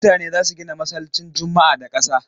Mutane za su gina masallcin juma'a da kasa.